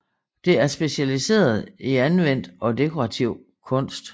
Det er specialiseret i anvendt og dekorativ kunst